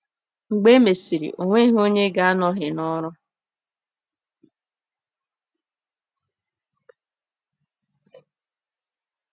Mgbe e mesịrị, ọ nweghị onye ga-anọghị n’ọrụ.